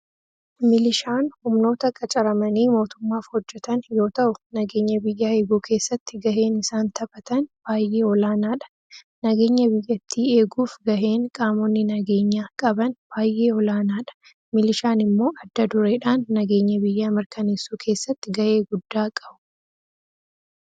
Milishaan humnoota qacaramanii mootummaaf hojjatan yoo ta'u nageenya biyyaa eeguu keessatti gaheen isaan taphatan baayyee olaanaadha. Nageenya biyyattii eeguuf gaheen qaamonni nageenya qaban baay'ee olaanaadha. Milishaan immo adda dureedhaan nageenya biyyaa mirkaneessuu keessatti gahee guddaa qabu.